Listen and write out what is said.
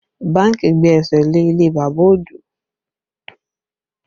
Bánkì gbé ẹsẹ̀ lé ilé bàbá Ojo